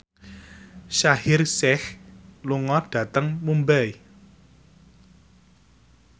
Shaheer Sheikh lunga dhateng Mumbai